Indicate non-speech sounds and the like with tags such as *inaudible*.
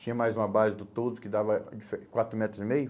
Tinha mais uma base do toldo que dava *unintelligible* quatro metros e meio.